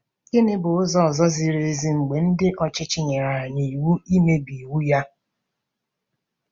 Gịnị bụ ụzọ ziri ezi mgbe ndị ọchịchị nyere anyị iwu imebi iwu ya?